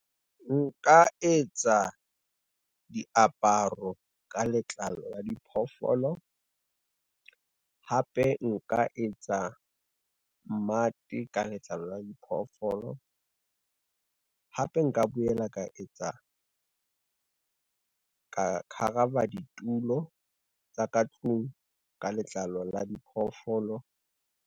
Nka etsa, diaparo ka letlalo la diphoofolo. Hape nka etsa mmate ka letlalo la diphoofolo, hape nka boela ka etsa, ka khavara ditulo tsa ka tlung ka letlalo la diphoofolo.